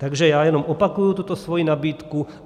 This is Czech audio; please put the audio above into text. Takže já jenom opakuji tuto svoji nabídku.